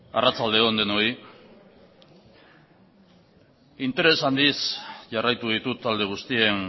arratsalde on denoi interes handiz jarraitu ditut talde guztien